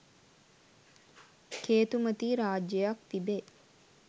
කේතුමතී රාජ්‍යයක් තිබේ.